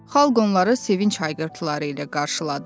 Xalq onları sevinc hayqırtıları ilə qarşıladı.